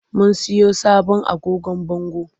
Mun siyo sabon agogon bango.